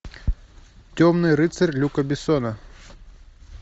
темный рыцарь люка бессона